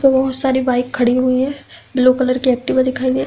बोहोत सारी बाइक खड़ी हुई हैं। ब्लू कलर की एक्टिवा दिखाई दे --